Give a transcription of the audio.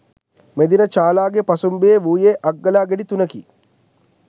මෙදින චාලාගේ පසුම්බියේ වූයේ අග්ගලා ගෙඩි තුනකි.